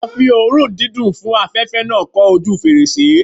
A fi oòrùn dídùn fún afẹ̀fẹ́ náà kọ́ ojúu fèrèsé.